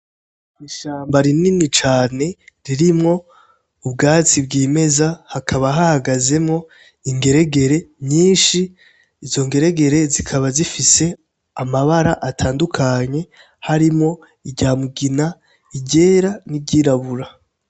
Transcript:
Ishamba rinini cane ririmwo ubwatsi bw'imeza hakaba hagazemo ingeregere nyinshi izo ngeregere zikaba zifise amabara atandukanye harimwo iryamugina igera n'iryirabura.